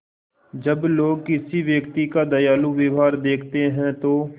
जब लोग किसी व्यक्ति का दयालु व्यवहार देखते हैं तो